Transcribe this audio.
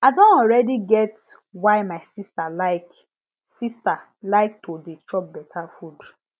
i don already get why my sister like sister like to dey chop better food